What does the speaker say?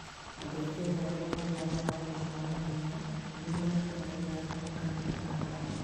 Andũ a Kenya arĩa mathiaga mathako-inĩ ma mahenya nĩ manyitanagĩra na makaanyita mbaru.